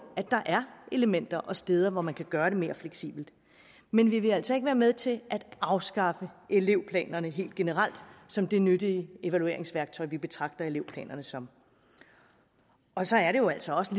at der er elementer og steder hvor man kan gøre det mere fleksibelt men vi vil altså ikke være med til at afskaffe elevplanerne helt generelt som det nyttige evalueringsværktøj vi betragter elevplanerne som og så er det jo altså også